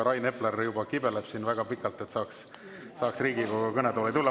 Rain Epler kibeleb juba väga pikalt, et saaks Riigikogu kõnetooli tulla.